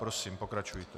Prosím, pokračujte.